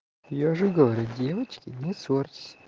я же говорю девочки не ссорьтесь